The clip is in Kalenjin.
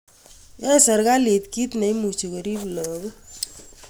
Yae sirikalit kit neimuchi korip lagok.